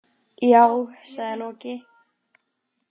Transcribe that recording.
Já, sagði Loki.